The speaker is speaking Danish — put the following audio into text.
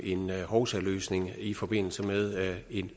en hovsaløsning i forbindelse med